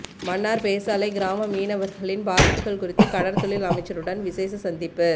மன்னார் பேசாலை கிராம மீனவர்களின் பாதிப்புக்கள் குறித்து கடற்தொழில் அமைச்சருடன் விசேட சந்திப்பு